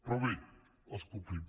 però bé els complim